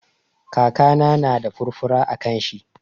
Kakana na da furfura a kan shi.